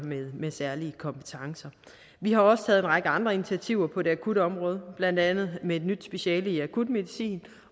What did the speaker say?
med særlige kompetencer vi har også taget en række andre initiativer på det akutområdet blandt andet med et nyt speciale i akutmedicin